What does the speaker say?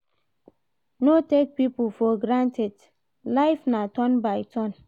No take pipo for granted, life na turn by turn